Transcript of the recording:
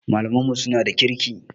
Malaman mu suna da kirki